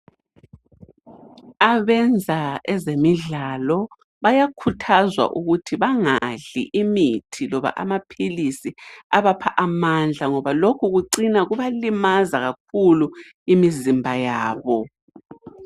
Abenza ezemidlalo bayakhuthazwa ukuthi bangadli imithi loba amaphilisi abapha amandla ngoba lokhu kucina kubalimaza kakhulu imizimba yabo.